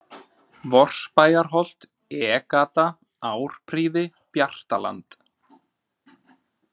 Vorsabæjarholt, E-Gata, Árprýði, Bjartaland